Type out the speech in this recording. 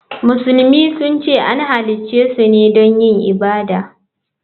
Musulmi sun ce an halicce su ne don yin ibada.